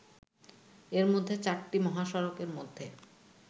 এর মধ্যে চারটি মহাসড়কের মধ্যে